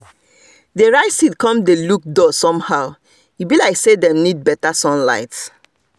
the rice seed come dey look dull somehow e be like say them need better sunlight